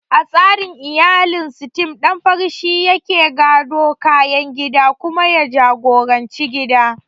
A tsarin iyalin Sitem, ɗan fari shi yake gadon kayan gida kuma ya jagoranci gidan.